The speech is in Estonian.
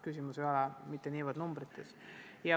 Küsimus ei ole mitte niivõrd rahanumbrites.